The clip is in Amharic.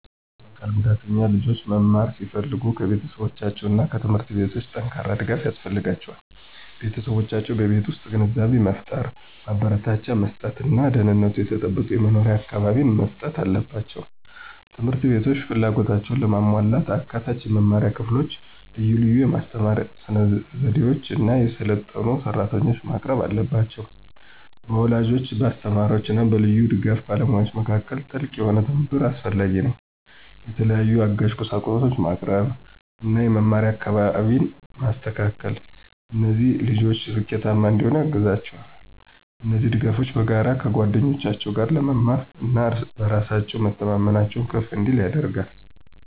የአካል ጉዳተኛ ልጆች መማር ሲፈልጉ ከቤተሰቦቻቸው እና ከትምህርት ቤቶች ጠንካራ ድጋፍ ያስፈልጋቸዋል። ቤተሰቦቻቸው በቤት ውስጥ ግንዛቤን መፍጠር፣ ማበረታቻ መስጥት እና ደህንነቱ የተጠበቀ የመኖሪያ አካባቢን መስጠት አለባቸው። ት/ቤቶች ፍላጎታቸውን ለማሟላት አካታች የመማሪያ ክፍሎችን፣ ልዩ ልዩ የማስተማር ስነዘዴዎችን እና የሰለጠኑ ሰራተኞችን ማቅረብ አለባቸው። በወላጆች፣ በአስተማሪዎች እና በልዩ ድጋፍ ባለሙያዎች መካከል ጥልቅ የሆነ ትብብር አስፈላጊ ነው። የተለያዩ አጋዥ ቁሳቁሶችን ማቅረብ እና የመማሪያ አካባቢን ማስተካከል እነዚህ ልጆች ስኬታማ እንዲሆኑ ያግዛቸዋል። እነዚህ ድጋፎች በጋራ ከጓደኞቻቸው ጋር ለመማር እና በራስ በመተማመናቸው ከፍ እንዲል ያደርጋል።